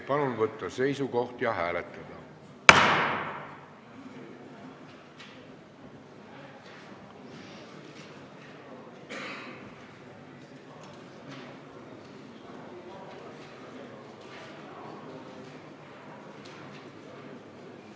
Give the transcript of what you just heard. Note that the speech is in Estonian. Palun võtta seisukoht ja hääletada!